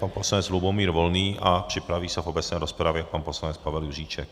Pan poslanec Lubomír Volný a připraví se v obecné rozpravě pan poslanec Pavel Juříček.